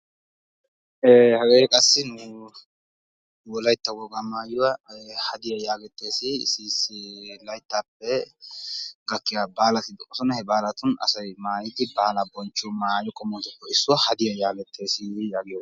Ee hagee qassi nu wolaytta wogaa maayuwaa hadiyaa yaagettees. hagee issi issi layttaappe gakkiyaa baalati de'oosona. he baalatun asay maayidi baalaa bonchchiyoo maayotuppe issuwaa hadiyaa yagettees yaagiyoogaa.